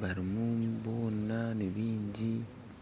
barimu boona nibaingi